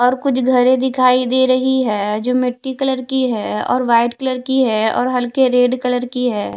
और कुछ घर दिखाई दे रही है जो मिट्टी कलर की है और वाइट कलर की है और हल्के रेड कलर की है।